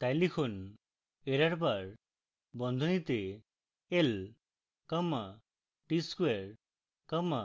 তাই লিখুন errorbar বন্ধনীতে l comma tsquare comma